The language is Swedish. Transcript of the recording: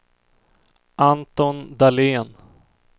Anton Dahlén